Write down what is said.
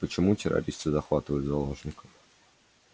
а почему террористы захватывают заложников